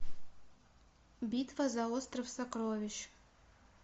битва за остров сокровищ